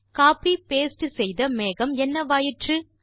copy paste செய்த மேகம் என்னவாயிற்று